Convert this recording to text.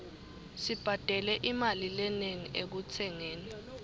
sibhadale imali lenengi ekutsengeni